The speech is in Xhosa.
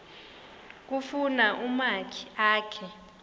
kufuna umakhi akhe